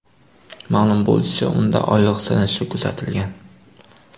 Ma’lum bo‘lishicha, unda oyoq sinishi kuzatilgan.